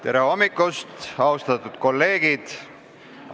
Tere hommikust, austatud kolleegid!